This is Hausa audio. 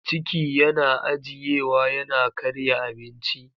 Ciki yana ajiyewa yana karya abinci.